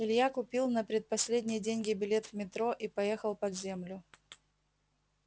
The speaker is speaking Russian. илья купил на предпоследние деньги билет в метро и поехал под землю